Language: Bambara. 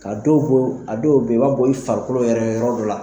Ka dɔw a dɔw be yen, i b'a bɔ, i farikolo yɛrɛ yɔrɔ dɔ la